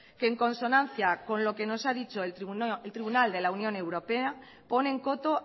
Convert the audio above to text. que en consonancia con lo que nos ha dicho el tribunal de la unión europea ponen coto